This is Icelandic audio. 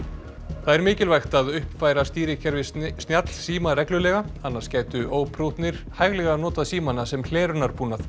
það er mikilvægt að uppfæra stýrikerfi snjallsíma reglulega annars gætu óprúttnir hæglega notað símana sem hlerunarbúnað